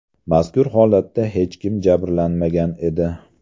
Mazkur holatda hech kim jabrlanmagan edi.